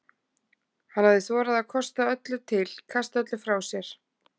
Hann hafði þorað að kosta öllu til, kasta öllu frá sér.